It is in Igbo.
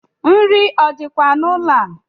Nri o dikwa n’ụlọ a?